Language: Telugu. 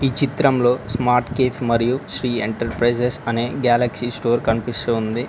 చిత్రంలో స్మార్ట్ కేఫ్ మరియు శ్రీ ఎంటర్ప్రైజెస్ అనే గేలక్సీ స్టోర్ కనిపిస్తూ ఉంది.